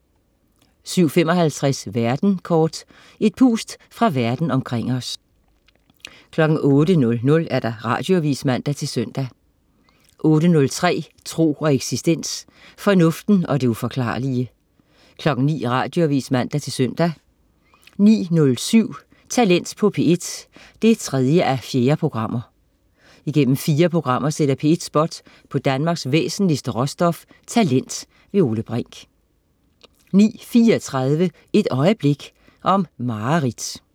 07.55 Verden kort. Et pust fra Verden omkring os 08.00 Radioavis (man-søn) 08.03 Tro og eksistens. Fornuften og det uforklarlige 09.00 Radioavis (man-søn) 09.07 Talent på P1 3:4. Igennem fire programmer sætter P1 spot på Danmarks væsentligste råstof, talent. Ole Brink 09.34 Et øjeblik. Om mareridt